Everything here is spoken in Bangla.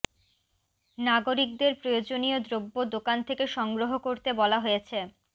নাগরিকদের প্রয়োজনীয় দ্রব্য দোকান থেকে সংগ্রহ করতে বলা হয়েছে